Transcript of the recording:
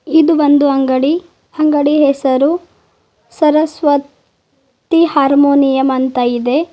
ಇದು ಒಂದು ಅಂಗಡಿ ಅಂಗಡಿ ಹೆಸರು ಸರಸ್ವ ತಿ ಹಾರ್ಮೋನಿಯಂ ಅಂತ ಇದೆ.